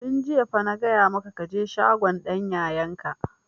Tun jiya fa na gaya maka ka je shagon dan yayan ka!